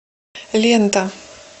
лента